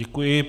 Děkuji.